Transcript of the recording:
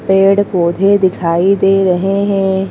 पेड़-पौधे दिखाई दे रहे हैं।